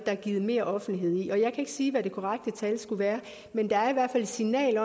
givet meroffentlighed jeg ikke sige hvad det korrekte tal skulle være men der er i hvert fald et signal